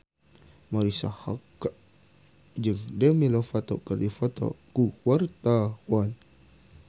Marisa Haque jeung Demi Lovato keur dipoto ku wartawan